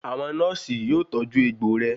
Àwọn nọ́ọ̀sì yóò tọ́jú ẹgbò rẹ.